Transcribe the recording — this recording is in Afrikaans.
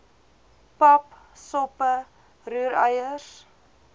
pap soppe roereier